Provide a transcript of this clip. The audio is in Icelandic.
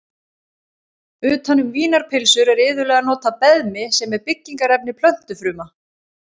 Utan um vínarpylsur er iðulega notað beðmi sem er byggingarefni plöntufruma.